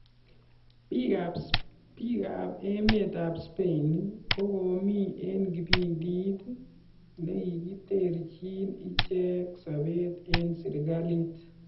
Bik ab emet ab Spain kokomi en kipindit nekiterchin ichek sobet en serikalit